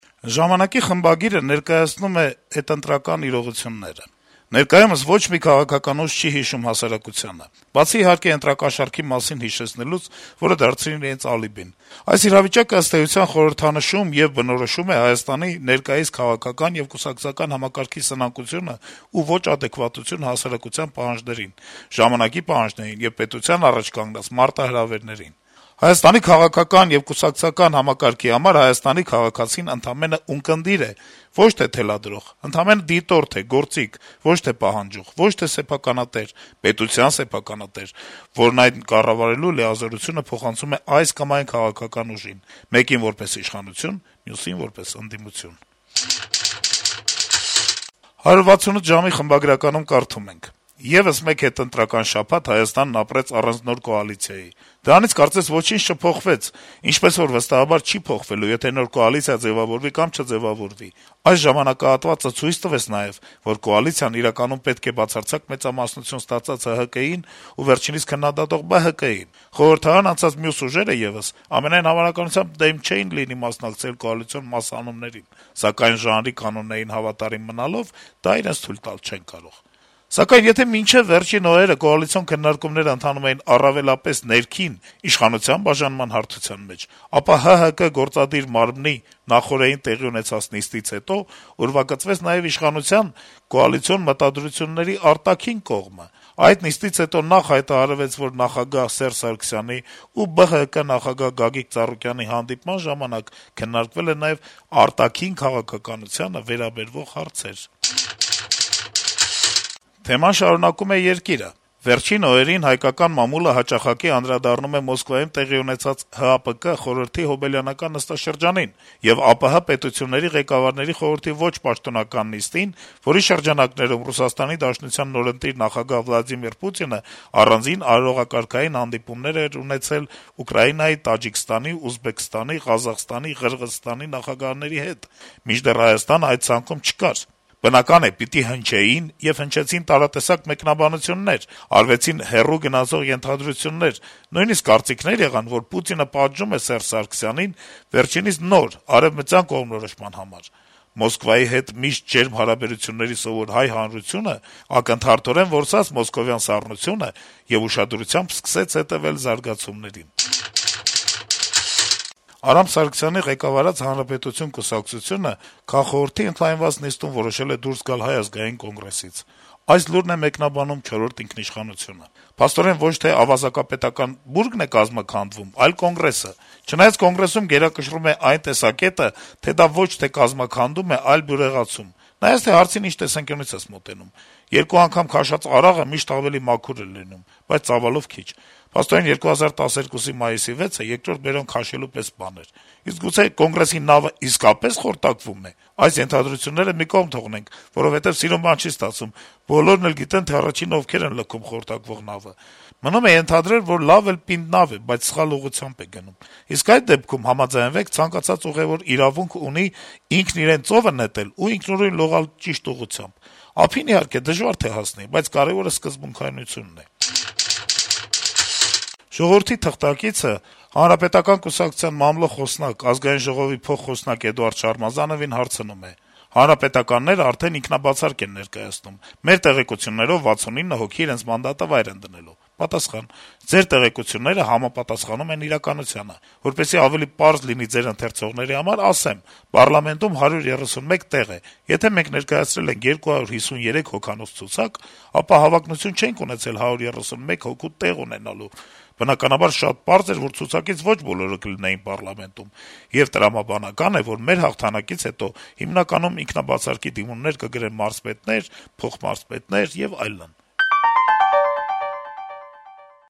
«Ժամանակ»-ի խմբագիրը ներկայացնում է հետընտրական իրողությունները. - «Ներկայումս ոչ մի քաղաքական ուժ չի հիշում հասարակությանը, բացի իհարկե ընտրակաշառքի մասին հիշեցնելուց, որը դարձրին իրենց ալիբին: Այս իրավիճակը, ըստ էության, խորհրդանշում եւ բնորոշում է Հայաստանի ներկայիս քաղաքական եւ կուսակցական համակարգի սնանկությունը ու ոչ ադեկվատությունը հասարակության պահանջներին, ժամանակի պահանջներին եւ պետության առաջ կանգնած մարտահրավերներին: Հայաստանի քաղաքական եւ կուսակցական համակարգի համար Հայաստանի քաղաքացին ընդամենը ունկնդիր է, ոչ թե թելադրող, ընդամենը դիտորդ է, գործիք, ոչ թե պահանջող, ոչ թե սեփականատեր` պետության սեփականատեր, որն այն կառավարելու լիազորությունը փոխանցում է այս կամ այն քաղաքական ուժին` մեկին որպես իշխանություն, մյուսին` որպես ընդդիմություն»: «168 ժամ»-ի խմբագրականում կարդում ենք. - «Եվս մեկ հետընտրական շաբաթ Հայաստանն ապրեց առանց կոալիցիայի: Դրանից կարծես ոչինչ չփոխվեց, ինչպես որ, վստահաբար, չի փոխվելու` եթե նոր կոալիցիա ձեւավորվի կամ չձեւավորվի: Այս ժամանակահատվածը ցույց տվեց նաեւ, որ կոալիցիան իրականում պետք է բացարձակ մեծամասնություն ստացած ՀՀԿ-ին ու վերջինիս քննադատող ԲՀԿ-ին: Խորհրդարան անցած մյուս ուժերը եւս, ամենայն հավանականությամբ, դեմ չէին լինի մասնակցել կոալիցիոն «մասհանումներին», սակայն ժանրի կանոններին հավատարիմ մնալով` դա իրենց թույլ տալ չեն կարող: Սակայն, եթե մինչեւ վերջին օրերը կոալիցիոն քննարկումները ընթանում էին առավելապես ներքին` իշխանության բաժանման հարթության մեջ, ապա ՀՀԿ-ի գործադիր մարմնի` նախօրեին տեղի ունեցած նիստից հետո ուրվագծվեց նաեւ իշխանության` «կոալիցիոն մտադրությունների» արտաքին կողմը: Այդ նիստից հետո նախ հայտարարվեց, որ նախագահ Սերժ Սարգսյանի ու ԲՀԿ նախագահ Գագիկ Ծառուկյանի հանդիպման ժամանակ քննարկվել են նաեւ արտաքին քաղաքականությանը վերաբերող հարցեր»: Թեման շարունակում է «Երկիր»-ը. - «Վերջին օրերին հայկական մամուլը հաճախակի անդրադառնում է Մոսկվայում տեղի ունեցած ՀԱՊԿ խորհրդի հոբելյանական նստաշրջանին եւ ԱՊՀ պետությունների ղեկավարների խորհրդի ոչ պաշտոնական նիստին, որի շրջանակներում ՌԴ նորընտիր նախագահ Վլադիմիր Պուտինն առանձին արարողակարգային հանդիպումներ էր ունեցել Ուկրաինայի, Տաջիկստանի, Ուզբեկստանի, Ղազախստանի, Ղրղըզստանի նախագահների հետ, մինչդեռ Հայաստանն այդ ցանկում չկար: Բնական է` պիտի հնչեին եւ հնչեցին տարատեսակ մեկնաբանություններ, արվեցին հեռուն գնացող ենթադրություններ, նույնիսկ կարծիքներ եղան, որ Պուտինը «պատժում»է Ս. Սարգսյանին` վերջինիս նոր` արեւմտյան կողմնորոշման համար: Մոսկվայի հետ միշտ ջերմ հարաբերությունների սովոր հայ հանրությունն ակնթարթորեն որսաց մոսկովյան «սառնությունը» եւ ուշադրությամբ սկսեց հետեւել զարգացումներին»: Արամ Սարգսյանի ղեկավարած «Հանրապետություն» կուսակցությունը քաղխորհրդի ընդլայնված նիստում որոշել է դուրս գալ Հայ ազգային կոնգրեսից: Մեկնաբանելով այս լուրը` «Չորրորդ ինքնիշխանություն»-ը գրում է. - «Փաստորեն ոչ թե ավազակապետական բուրգն է կազմաքանդվում, այլ Կոնգրեսը: Չնայած Կոնգրեսում գերակշռում է այն տեսակետը, թե դա ոչ թե կազմաքանդում է, այլ բյուրեղացում: Նայած թե հարցին ինչ տեսանկյունից ես մոտենում: Երկու անգամ քաշած արաղը միշտ ավելի մաքուր է լինում, բայց ծավալով քիչ: Փաստորեն 2012-ի մայիսի 6-ը «երկրորդ բերան» քաշելու պես բան էր: Իսկ գուցե Կոնգրեսի նավը իսկապես խորտակվում է… Այս ենթադրությունները մի կողմ թողնենք, որովհետեւ սիրուն բան չի ստացվում. բոլորն էլ գիտեն, թե ովքեր են առաջինները թողնում խորտակվող նավը: Մնում է ենթադրել, որ լավ էլ պինդ նավ է, բայց սխալ ուղղությամբ է գնում: Իսկ այդ դեպքում, համաձայնեք, ցանկացած ուղեւոր իրավունք ունի ինքն իրեն ծովը նետել ու ինքնուրույն լողալ ճիշտ ուղղությամբ: Ափին, իհարկե, դժվար թե հասնի, բայց կարեւորը սկզբունքայնությունն է»: «Ժողովուրդ» թերթի թղթակիցը ՀՀԿ-ի խոսնակ Էդուարդ Շարմազանովին հարցնում է. - «ՀՀԿ-ականներն արդեն ինքնաբացարկ են ներկայացնում, մեր տեղեկություններով` 69 հոգի իրենց մանդատը վայր են դնելու»: Պատասխան. - «Ձեր տեղեկությունները համապատասխանում են իրականությանը: Որպեսզի ավելի պարզ լինի ձեր ընթերցողների համար, ասեմ` պառլամենտում 131 տեղ է, եթե մենք ներկայացրել ենք 253 հոգանոց ցուցակ, ապա հավակնություն չենք ունեցել 131 հոգու տեղ ունենալու, բնականաբար, շատ պարզ էր, որ ցուցակից ոչ բոլորը կլինեին պառլամենտում: Եվ տրամաբանական է, որ մեր հաղթանակից հետո հիմնականում ինքնաբացարկի դիմումներ կգրեն մարզպետներ, փոխմարզպետներ եւ այլն»: